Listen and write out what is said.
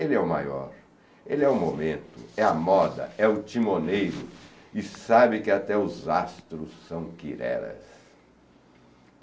Ele é o maior, ele é o momento, é a moda, é o timoneiro e sabe que até os astros são quireras.